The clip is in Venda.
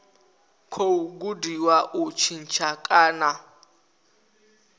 khou gudiwa u tshintsha kana